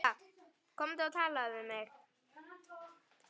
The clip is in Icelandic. Komdu og talaðu við mig